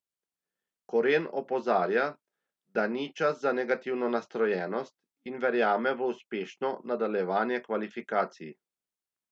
Koren opozarja, da ni čas za negativno nastrojenost in verjame v uspešno nadaljevanje kvalifikacij.